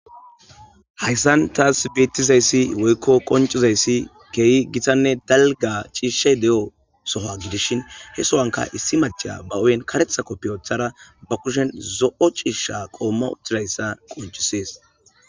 Haysan tasi betizaysi woyko qonc'izaysi keehi gitanne dalga cishata diyo sohuwa gidishin he sohuwanka issi mac'asiya ba hu'e karetha kopiya wothada ba kushen zo'o c'isha qommo oykizaysa qoncisses.